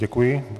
Děkuji.